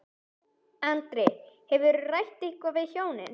Andri: Þú, hefurðu rætt eitthvað við hjónin?